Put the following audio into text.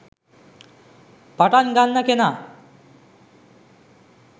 පටන්ගන්න කෙනා